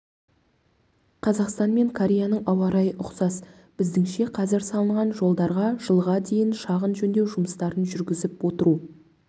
қазақстан мен кореяның ауа-райы ұқсас біздіңше қазір салынған жолдарға жылға дейін шағын жөндеу жұмыстарын жүргізіп отыру